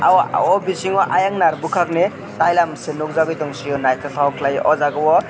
o bisingo ayang nar bwkhakni tailam si nukjakgui tongsio naithotok khlaiue oh jaga o.